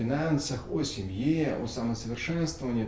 финансах о семье о самосовершенствование